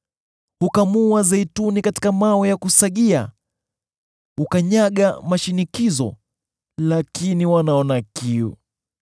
Hukamua zeituni katika mawe ya kusagia; hukanyaga mashinikizo, lakini wanaona kiu.